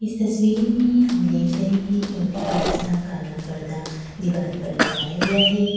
इस तस्वीर में हम देख रहे हैं एक बड़ा-सा काला पर्दा दीवार पर लगाया गया है।